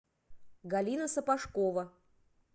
галина сапожкова